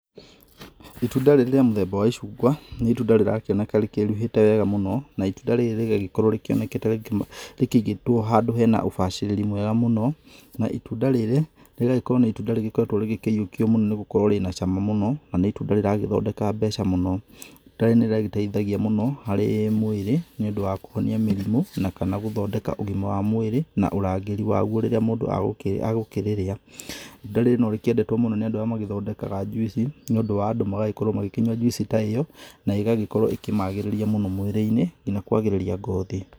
Itunda rĩrĩ rĩa mũthemba wa icungwa, nĩ itunda rĩrakĩoneka rĩkĩruhĩte wega mũno, na itunda rĩrĩ rĩgagĩkorwo rĩonekete rĩngĩ rĩkĩigĩtũo handũ hena ũbacĩrĩri mwega mũno, na itunda rĩrĩ rĩgagĩkorwo nĩ itunda rĩgĩkoretũo rĩgĩkĩyũkio mũno nĩgũkorwo rĩna cama mũno, na nĩ itunda rĩragĩthondeka mbeca mũno. Itunda rĩrĩ nĩrĩgĩteithagia mũno, harĩ mwĩrĩ, nĩũndũ wa kũhonia mĩrimũ, na kana gũthondeka ũgima wa mwĩrĩ na ũrangĩri waguo rĩrĩa mũndũ agũkĩrĩrĩa. Itunda rĩrĩ no rĩkĩendetũo mũno nĩ andũ arĩa magĩthondekaga juici, nĩũndũ wa andũ magagĩkorwo magĩkĩnyua juici ta ĩyo, na ĩgagĩkorwo ĩkĩmagĩrĩria mũno mwĩrĩ-inĩ, kinya kũagĩrĩria ngothi.